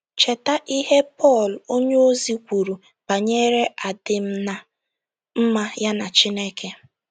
Cheta ihe Pọl onyeozi kwuru banyere adịm ná mma ya na Chineke.